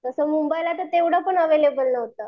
तसं मुंबईला तर तेवढं पण अव्हेलेबल नव्हतं.